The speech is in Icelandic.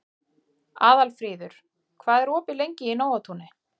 Aðalfríður, hvað er opið lengi í Nóatúni?